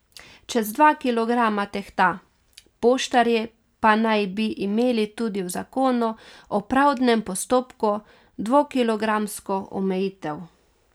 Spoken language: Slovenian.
Čez dva kilograma tehta, poštarji pa naj bi imeli tudi v zakonu o pravdnem postopku dvokilogramsko omejitev.